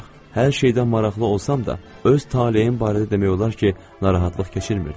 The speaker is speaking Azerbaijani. Hər şeydən maraqlı olsam da, öz taleyim barədə demək olar ki, narahatlıq keçirmirdim.